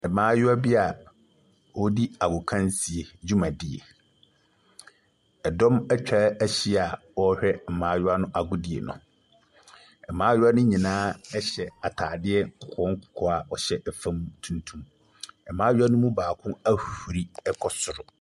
Mmaayewa bi a wɔredi agokansie dwumadie. Ɛdɔm atwa ahyia a wɔrehwɛ mmaayewa no agodie no. Mmaayewa no nyinaa hyɛ ataadeɛ nkɔkɔɔ nkɔkɔɔ a wɔhyɛ fam tuntum. Mmaayewa no baako ahuri kɔ soro.